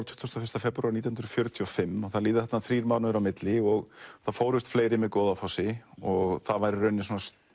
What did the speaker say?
tuttugasta og fyrsta febrúar nítján hundruð fjörutíu og fimm það líða þarna þrír mánuðir á milli og það fórust fleiri með Goðafossi og það var í rauninni